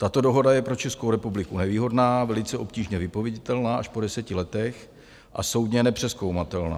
Tato dohoda je pro Českou republiku nevýhodná, velice obtížně vypověditelná až po deseti letech a soudně nepřezkoumatelná.